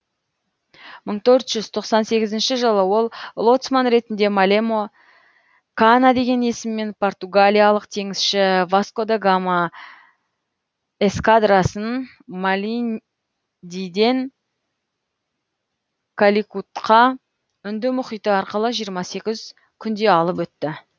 мың төрт жүз тоқсан сегізінші жылы ол лоцман ретінде малемо кана деген есіммен португалиялық теңізші васко да гама эскадрасын малиндиден каликутқа үнді мұхиты арқылы жиырма сегіз күнде алып өтті